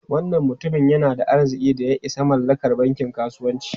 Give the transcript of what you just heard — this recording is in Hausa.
Wannan mutumin yana da arzikin da ya isa mallakar bankin kasuwanci.